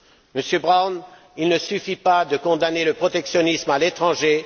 Monsieur Brown, il ne suffit pas de condamner le protectionnisme à l'étranger.